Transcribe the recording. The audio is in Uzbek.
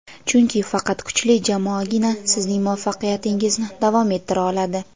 chunki faqat kuchli jamoagina sizning muvaffaqiyatingizni davom ettira oladi.